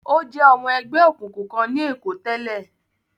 Ó jẹ́ ọmọ ẹgbẹ́ òkùnkùn kan ní Èkó tẹ́lẹ̀.